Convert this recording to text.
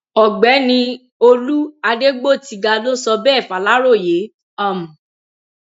ọgbẹni olú adégbòtiga ló sọ bẹẹ faláròyé um